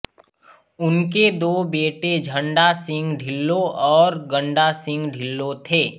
उनके दो बेटे झंडा सिंह ढिल्लों और गंडा सिंह ढिल्लों थे